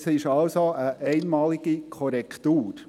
Es ist also eine einmalige Korrektur.